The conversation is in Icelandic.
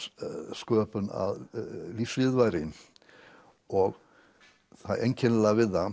sköpun að lífsviðurværi og það einkennilega við það